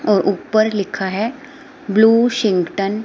और ऊपर लिखा है ब्लू सिंगटन।